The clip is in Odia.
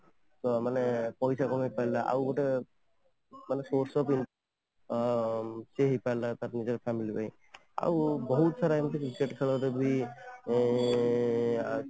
ତ ମାନେ ପଇସା ବି କମେଇପାରିଲା ଆଉ ଗୋଟେ ମାନେ source of income ଅ ହେଇପାରିଲା ନିଜ family ପାଇଁ ଆଉ ବହୁତ ସାରା ଏମିତି cricket ଖେଳ ରେ ବି ଏଁ